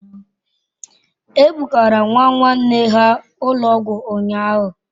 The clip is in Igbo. E bugara nwa nwanne ha ụlọ ọgwụ ụnyahụ.